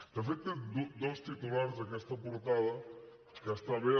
de fet té dos titulars aquesta portada que està bé